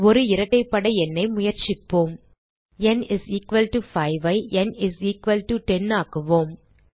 ஒரு இரட்டைப்படை எண்ணை முயற்சிக்கலாம் ந் 5 ஐ ந் 10 ஆக்குவோம்